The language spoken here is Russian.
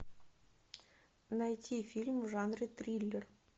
найти фильм в жанре триллер